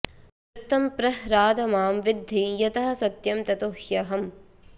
वृत्तं प्रह्राद मां विद्धि यतः सत्यं ततो ह्यहम्